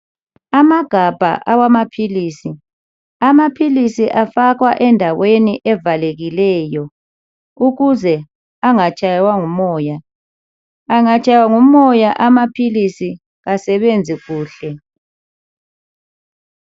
Amagabha awamaphilisi amaphilisi afakwa endaweni evalekileyo ukuze angatshaywa ngumoya, angatshaywa ngumoya amaphilisi kasebenzi kuhle.